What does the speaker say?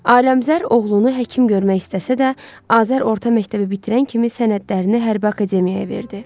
Aləmqəzər oğlunu həkim görmək istəsə də, Azər orta məktəbi bitirən kimi sənədlərini hərbi akademiyaya verdi.